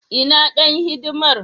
Ina dan hidimar.